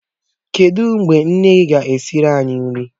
Kedụ mgbe nne ga-esiri anyị nri?